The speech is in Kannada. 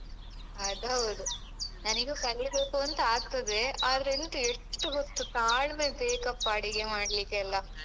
ಅದ್‌ಹೌದು ನನಿಗೂ ಕಲೀಬೇಕೂಂತಾಗ್ತದೆ ಆದ್ರೆ ಎಂತ ಎಷ್ಟು ಹೊತ್ತು ತಾಳ್ಮೆ ಬೇಕಪ್ಪ ಅಡಿಗೆ ಮಾಡ್ಲಿಕ್ಕೆಲ್ಲ?